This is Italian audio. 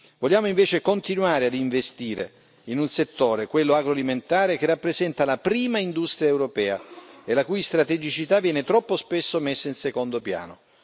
Vogliamo invece continuare a investire in un settore, quello agroalimentare, che rappresenta la prima industria europea e la cui strategicità viene troppo spesso messa in secondo piano.